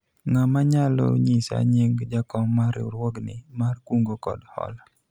ng'ama nyalao nyisa nying jakom mar riwruogni mar kungo kod hola ?